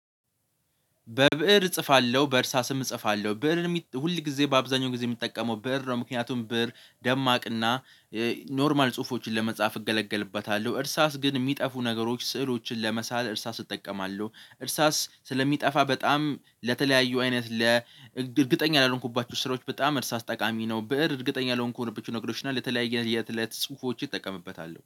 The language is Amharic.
በብእር እጽፋለሁ በእርሳስም እጽፋለሁ ብእርን ሁል ጊዜ በአብዛኛው ጊዜ የሚጠቀመው ብእር ነው ምክንያቱም ብእር ደማቅና ኖርማል ጽሁፎችን ለመጻፍ እገለገልበታለሁ። እርሳስ ግን የሚጠፉ ነገሮች ስዕሎችን ለመሳል እርሳስ እጠቀማለሁ። እርሳስ ስለሚጠፋ በጣም ለተለያዩ አይነት ለእርግጠኛ ላልሆንኩባችሁ ስራዎች በጣም እርሳስ ጠቃሚ ነው። ብእር እርግጠኛ ላልሆንኩባችሁ ነው እግዶች እና ለተለያየ የ እትለት ጽሁፎች ይጠቀምበታል